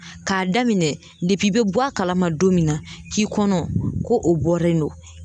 K'a daminɛ depi i be bɔ a kalama don min na k'i kɔnɔ ko o bɔre no